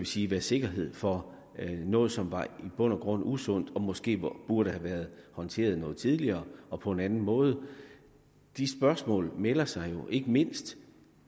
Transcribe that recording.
sige være sikkerhed for noget som i bund og grund var usundt og måske burde have været håndteret noget tidligere og på en anden måde de spørgsmål melder sig jo ikke mindst